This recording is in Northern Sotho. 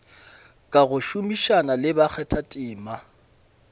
ka go šomišana le bakgathatema